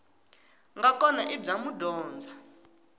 nga kona i bya madyondza